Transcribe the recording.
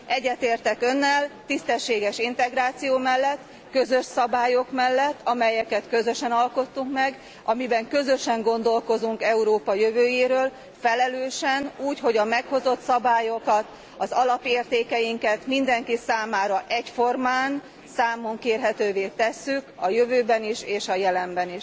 Egyetértek Önnel tisztességes integráció mellett, közös szabályok mellett, amelyeket közösen alkottunk meg, amelyekkel közösen gondolkozunk Európa jövőjéről, felelősen, úgy, hogy a meghozott szabályokat, az alapértékeinket mindenki számára egyformán számon kérhetővé tesszük a jövőben is és a jelenben